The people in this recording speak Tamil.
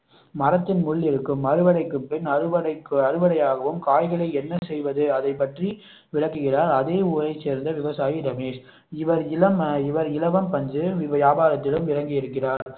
மரத்தில் முள் இருக்கும் அறுவடைக்கு பின் அறுவடை ஆகும் காய்களை என்ன செய்வது அதை பற்றி விளக்குகிறார் அதே ஊரைச் சேர்ந்த விவசாயி ரமேஷ் இவர் இளம் இலவம் பஞ்சு வியாபாரத்திலும் இறங்கி இருக்கிறார்